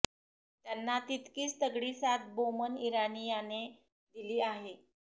त्यांना तितकीच तगडी साथ बोमन इराणी याने दिली आहे